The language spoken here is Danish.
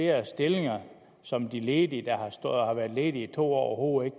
er stillinger som de ledige der har været ledige i to år overhovedet